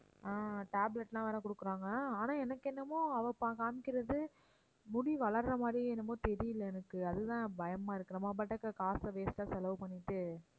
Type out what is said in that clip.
ஆஹ் tablet லாம் வேற குடுக்குறாங்க ஆனா எனக்கு என்னமோ அவ ப~ காண்பிக்கிறது முடி வளர்ற மாதிரியே என்னமோ தெரியலை எனக்கு அதுதான் பயமா இருக்கு. நம்ம பாட்டுக்கு காசை waste ஆ செலவு பண்ணிட்டு